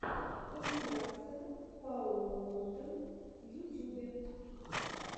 компиляция пауло лондры в ютюбе